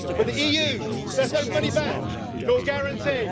With the EU, there's no money back, no guarantee.